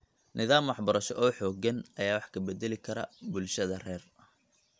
Nidaam waxbarasho oo xooggan ayaa wax ka beddeli kara bulshada rer .